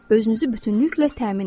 Özünüzü bütünlüklə təmin edin.